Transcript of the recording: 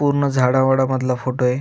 पूर्ण झाडावाडा मधला फोटो आहे.